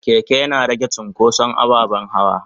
keke Yana rage cunkoson ababen hawa.